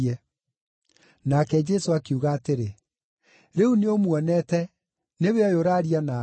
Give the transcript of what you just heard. Nake Jesũ akiuga atĩrĩ, “Rĩu nĩũmuonete; nĩwe ũyũ ũraaria nawe.”